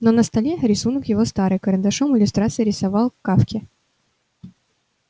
но на столе рисунок его старый карандашом иллюстрации рисовал к кафке